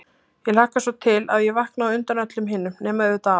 Ég hlakkaði svo til að ég vaknaði á undan öllum hinum, nema auðvitað afa.